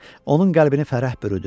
Onun qəlbini fərəh bürüdü.